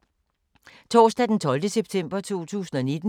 Torsdag d. 12. september 2019